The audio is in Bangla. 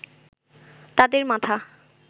তাদের মাথা